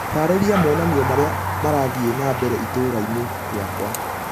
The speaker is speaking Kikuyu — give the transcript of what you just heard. taarĩria monanĩo marĩa marathĩe na mbere itũũra ĩni rĩakwa